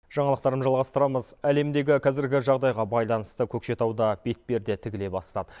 жаңалықтарымызды жалғастырамыз әлемдегі кәзіргі жағдайға байланысты көкшетауда бетперде тігіле бастады